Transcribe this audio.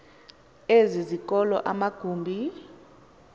ezi zikolo amagumbi